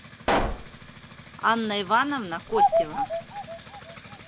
анна ивановна костева